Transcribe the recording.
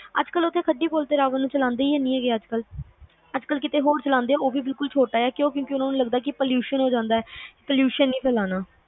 ਅੱਜ ਕੱਲ ਉੱਥੇ ਸੱਜੀ ਪੁੱਲ ਤੇ ਰਾਵਣ ਨੂੰ ਜਲਾਂਦੇ ਈ ਹੈਨੀ ਗੇ ਅੱਜ ਕੱਲ ਅੱਜ ਕੱਲ ਕਿਤੇ ਹੋਰ ਜਲਾਂਦੇ ਉਹ ਵੀ ਛੋਟਾ ਜਿਆ ਕਿਉਕਿ ਉਹਨਾਂ ਨੂੰ ਲੱਗਦਾ ਹੈ pollution ਹੋ ਜਾਂਦਾ ਆ pollution ਨਹੀਂ ਫੈਲਾਣਾ